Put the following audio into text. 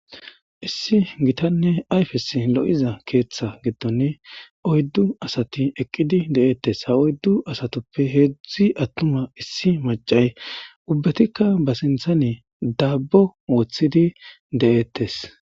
Issi giitanne ayfes lo'izza keththa giddon oyddu asati eqqidi de'ettes ha oyddu heezhzhi attuma issi maccay ubbetikka ba sinththan daabbo woththidi de'etes.